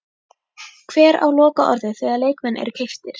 Hver á lokaorðið þegar leikmenn eru keyptir?